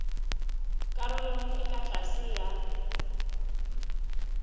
karolong e ka tlase ya